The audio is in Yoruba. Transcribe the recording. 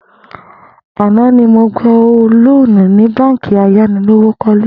Àná ni mo gba lóònù ní báǹkì ayánilówókó̩le